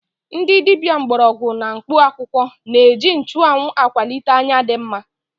Ndị dibia mgbọrọgwụ na mkpụ akwụkwọ na-eji nchụanwụ akwalite anya dị mma.